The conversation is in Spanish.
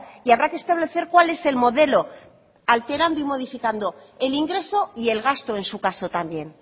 y habrá que establecer cuál es el modelo alterando y modificando el ingreso y el gasto en su caso también